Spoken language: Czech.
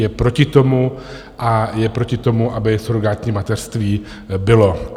Je proti tomu a je proti tomu, aby surogátní mateřství bylo.